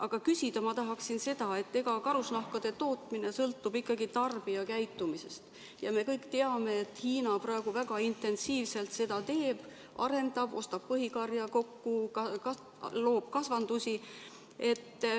Aga küsida ma tahaksin selle kohta, et karusnahkade tootmine sõltub ikkagi tarbijakäitumisest ja me kõik teame, et Hiina praegu väga intensiivselt ostab põhikarja kokku, loob kasvandusi.